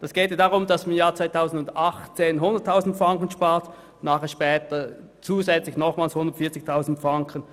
Es geht darum, dass im Jahr 2018 100 000 Franken eingespart werden und später noch zusätzliche 140 000 Franken.